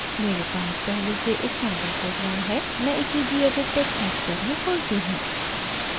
मेरे पास पहले से एक सैंपल प्रोग्राम है मैं इसे gedit टेक्स्ट एडिटर में खोलती हूँ